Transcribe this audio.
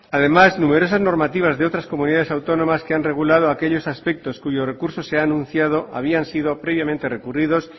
además numerosas normativas de otras comunidades autónomas que han regulado aquellos aspectos cuyo recurso se han anunciado habían sido previamente recurridos